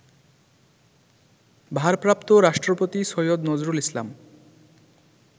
ভারপ্রাপ্ত রাষ্ট্রপতি সৈয়দ নজরুল ইসলাম